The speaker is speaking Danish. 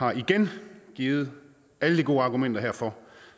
har igen givet alle de gode argumenter herfor